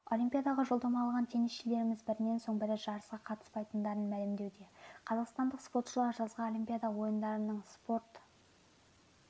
олимпиадаға жолдама алған теннисшілеріміз бірінен соң бірі жарысқа қатыспайтындарын мәлімдеуде қазақстандық спортшылар жазғы олимпиада ойындарының спорт